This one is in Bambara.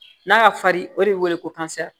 N'a ka fari o de be wele ko